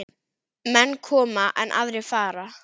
Menn koma, en aðrir fara.